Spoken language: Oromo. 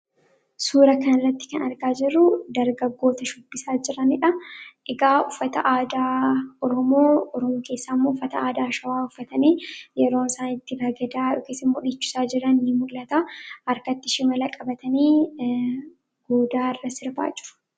suura kanratti kan argaa jiru darga goota shubbisaa jiramidha higaa uffata aadaarumoo urum keessam ufata aadaa shawaa uffatanii yeroo isaaitti bagadaa dhukesi mudhichusaa jirani muqlata arkatti shimila qabatanii goodaa irra sirbaa jiru